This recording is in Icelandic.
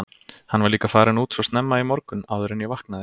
Hann var líka farinn út svo snemma í morgun, áður en ég vaknaði.